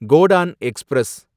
Godan express